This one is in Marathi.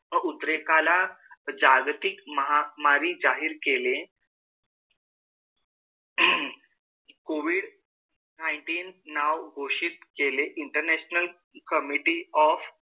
व उद्रेकाला जागतिक महामारी जाहीर केली आहे. कोविड nineteen नाव घोषित केले international committee of,